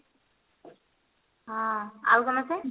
ହଁ ଆଉ ସମସ୍ତେ?